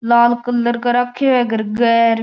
लाल colour का राख्यो है घर के र।